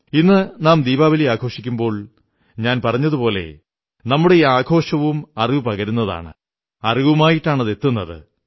ഇന്നു നാം ദീപാവലി ആഘോഷിക്കുമ്പോൾ ഞാൻ പറഞ്ഞതുപോലെ നമ്മുടെ ഈ ആഘോഷവും അറിവു പകരുന്നതാണ് അറിവുമായിട്ടാണെത്തുന്നത്